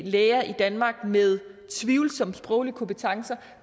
læger i danmark med tvivlsomme sproglige kompetencer